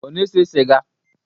Ọ na-ese sịga?